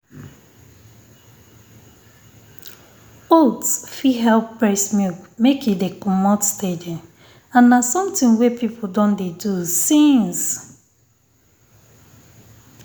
oats fit help um breast milk make e de um comot steady and na something wey people don dey do since